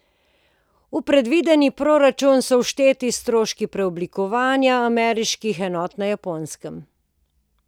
V predvideni proračun so všteti stroški preoblikovanja ameriških enot na Japonskem.